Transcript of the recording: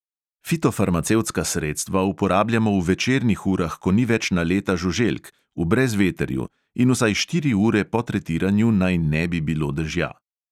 Fitofarmacevtska sredstva uporabljajmo v večernih urah, ko ni več naleta žuželk, v brezvetrju in vsaj štiri ure po tretiranju naj ne bi bilo dežja.